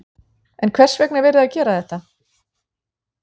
En hvers vegna er verið að gera þetta?